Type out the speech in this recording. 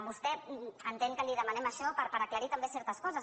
vostè entén que li demanem això per aclarir també certes coses